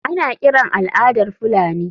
Ana kiran al’adar Fulani.